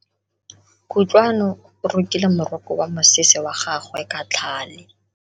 Kutlwano o rokile moroko wa mosese wa gagwe ka tlhale.